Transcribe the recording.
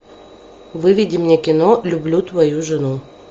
выведи мне кино люблю твою жену